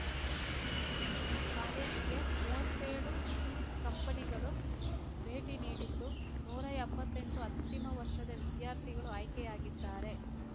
ಕಾಲೇಜಿಗೆ ಮೂವತ್ತೇಳು ಕಂಪನಿಗಳು ಭೇಟಿ ನೀಡಿದ್ದು ನೂರಾ ಎಂಬತ್ತೆಂಟು ಅಂತಿಮ ವರ್ಷದ ವಿದ್ಯಾರ್ಥಿಗಳು ಆಯ್ಕೆಯಾಗಿದ್ದಾರೆ